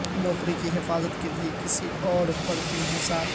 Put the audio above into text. نوکری کی حفاظت کے لئے کسی اور پر انحصار